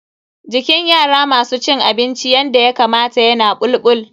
Jikin yara masu cin abinci yanda Yakamata yana bulbul.